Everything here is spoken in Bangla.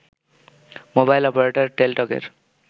mobile operator টেলিটকের